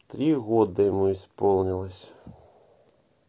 три года ему исполнилось